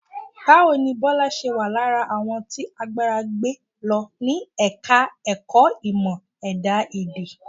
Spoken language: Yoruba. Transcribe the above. Báwo ni Bọ́lá ṣe wà lára àwọn tí àgbàrá gbé lọ ní Ẹ̀ka-ẹ̀kọ́ Ìmọ̀-Ẹ̀dá Èdè?